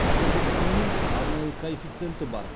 қазіргі құнының арнайы коэффициенті бар